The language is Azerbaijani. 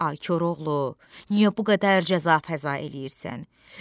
Ay Koroğlu, niyə bu qədər cəza-fəza eləyirsən?